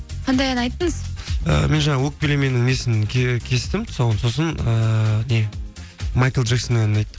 қандай ән айттыңыз і мен жаңағы өкпелеменің несін кестім тұсауын сосын ыыы не майкл джексонның әнін айттым